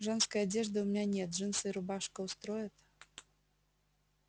женской одежды у меня нет джинсы и рубашка устроят